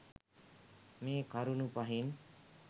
මේ කරුණු පහෙන්